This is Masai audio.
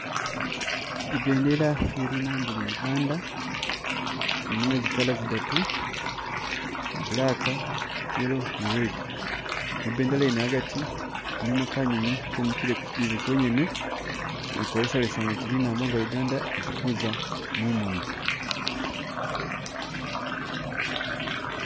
I bendela iye linambo lya Uganda, ilimo zi color zidatu iya black, yellow ni red mu bendela yene agati mulimo kanyonyi kemikile kukyijele kyonyene kolesalesa oti linambo nga Uganda likuza mumoni.